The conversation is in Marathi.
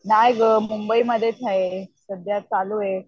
नाही गं मुंबईमध्येच हाय सध्या चालू आहे.